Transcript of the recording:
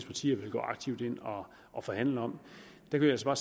partier vil gå aktivt ind og forhandle om kan vi altså